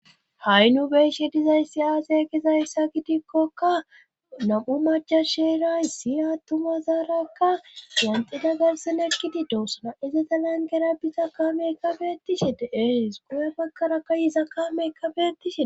Ha'i nu beshe dizayssi aasay gizayssa gidikkokka nam7u macasheray siyattuma zaarakka ganxida garsin ekkidi doossana ize dalan gera biza kaamekabetishe de7ees guye makara ka yiza kaameka betishe